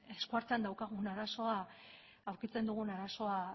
eskuartean daukagun arazoa aurkitzen dugun arazoa